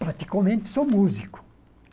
Praticamente sou músico.